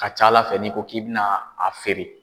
ka ca Ala fɛ n'i ko k'i bɛna a feere